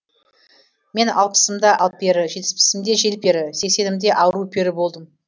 мен алпысымда алпері жетпісімде желпері сексенімде ару пері болдым